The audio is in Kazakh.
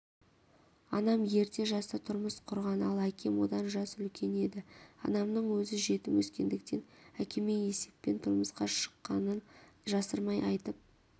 анам ерте жаста тұрмыс құрған ал әкем одан жас үлкен еді анамның өзі жетім өскендіктен әкеме есеппен тұрмысқа шыққанын жасырмай айтып